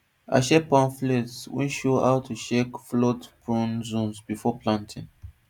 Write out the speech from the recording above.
i share pamphlets wey show how to check floodprone zones before planting